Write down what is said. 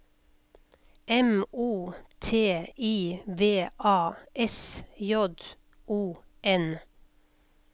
M O T I V A S J O N